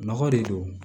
Nɔgɔ de don